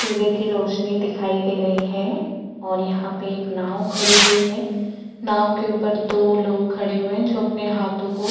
सूर्य की रौशनी दिखाई दे रही है और यहाँ पे एक नाव खड़ीं हुई है नाव के ऊपर दो लोग खड़े हुए है जो अपने हाथो को --